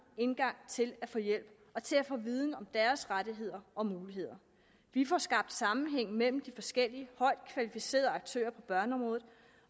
indgang til at få hjælp og til at få viden om deres rettigheder og muligheder vi får skabt sammenhæng mellem de forskellige højt kvalificerede aktører på børneområdet